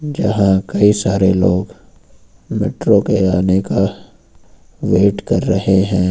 यहां कई सारे लोग मेट्रो के आने का वेट कर रहे हैं।